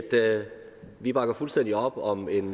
vi bakker fuldstændig op om en